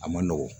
A ma nɔgɔn